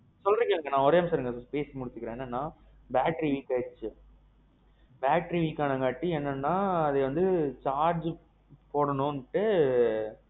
சொல்லிட்டு இருக்கேன் நான் பேசி முடுச்சிர்றேன். என்னன்னா battery weak அயிதிச்சு, battery weak ஆணங்காட்டி என்னன்னா அது வந்து charge போடணும்ண்டு.